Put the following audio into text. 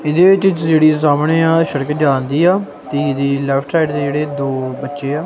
ਇਹਦੇ ਵਿੱਚ ਜਿਹੜੀ ਸਾਹਮਣੇ ਆ ਸੜਕ ਜਾਂਦੀ ਆ ਤੇ ਇਹਦੇ ਲੈਫਟ ਸਾਈਡ ਦੇ ਜਿਹੜੇ ਦੋ ਬੱਚੇ ਆ।